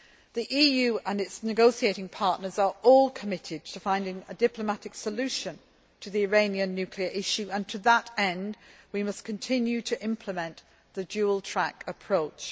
The EU and its negotiating partners are all committed to finding a diplomatic solution to the Iranian nuclear issue, and to that end, we must continue to implement the dual track approach.